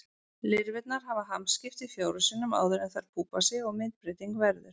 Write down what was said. Lirfurnar hafa hamskipti fjórum sinnum áður en þær púpa sig og myndbreyting verður.